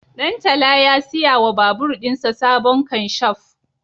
Ɗantala ya siya wa babur ɗinsa sabon kanshaf